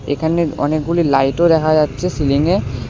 এখানে অনেকগুলি লাইট -ও দেখা যাচ্ছে সিলিংয়ে।